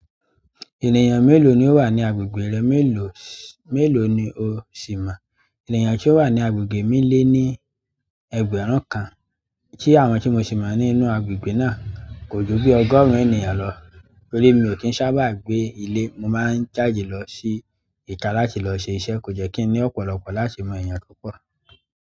Ènìyàn mélòó ni ó wà ní agbègbè rẹ mélòó, mélòó ni o sì mo ènìyàn tí ó wà ní agbègbè mi lé ní ẹgbẹ̀rún kan, tí àwọn tí mo sì mọ̀ nínú agbègbè náà kò ju bí ọgọ́rùn-ún ènìyàn lọ. Torí mi ò kí ń sábà gbé ilé, mo máa ń jáde lọ sí ìta láti lọ ṣe iṣẹ́. Kò jẹ́ kí ni ọ̀pọ̀lọpọ̀ láti mo èèyàn púpọ̀.